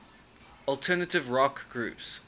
alternative rock groups